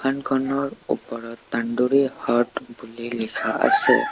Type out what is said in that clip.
খনৰ ওপৰত হাট বুলি লিখা আছে।